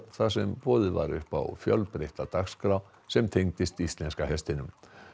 þar sem boðið var upp á fjölbreytta dagskrá sem tengdist íslenska hestinum